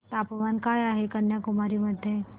तापमान काय आहे कन्याकुमारी मध्ये